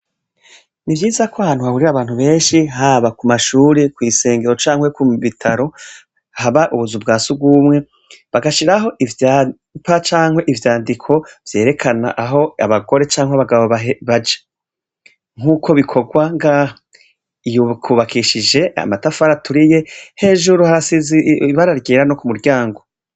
Ni vyiza ko hantu haburira abantu benshi haba ku mashure kw'isengero canke ku mbitaro haba ubuzu bwa si gwumwe bagashiraho ivyampa canke ivyandiko vyerekana aho abagore canke abagabo baja nk'uko bikorwa gaha iyukubakishije amatafara aturi ye hejuru harasize ibara ryera no ku muryango.